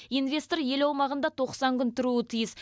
инвестор ел аумағында тоқсан күн тұруы тиіс